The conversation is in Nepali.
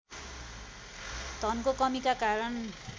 धनको कमीका कारण